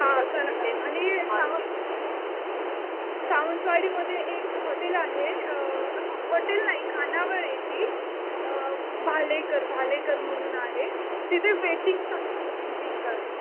हा आणि सावंतवाडीमध्ये एक हॉटेल आहे. हॉटेल नाही खानावळ आहे ती. भालेकर, भालेकर म्हणून आहे. तिथे वेटिंग्स असतात तीन-तीन तास.